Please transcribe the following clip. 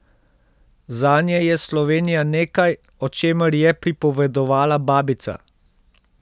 Zanje je Slovenija nekaj, o čemer je pripovedovala babica.